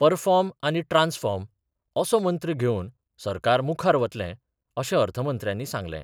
Perform आनी transform असो मंत्र घेवन सरकार मुखार वतलें, अशें अर्थमंत्र्यांनी सांगलें.